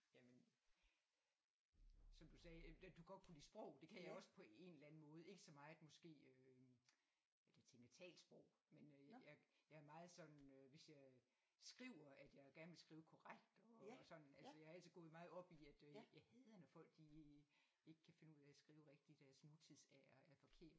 Jamen som du sagde da du godt kunne lide sprog det kan jeg også på en eller anden måde ikke så meget måske øh jeg tænker talt sprog men øh jeg jeg er meget sådan øh hvis jeg skriver at jeg gerne vil skrive korrekt og sådan altså jeg er altid gået meget op i at øh jeg hader når folk de ikke kan finde ud af at skrive rigtigt deres nutids R er forkert